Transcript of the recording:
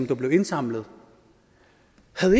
der blev indsamlet